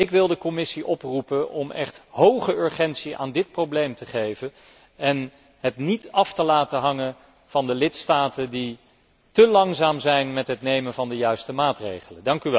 Ik wil de Commissie oproepen om echt hoge urgentie aan dit probleem te geven en het niet te laten afhangen van de lidstaten die te langzaam zijn met het nemen van de juiste maatregelen.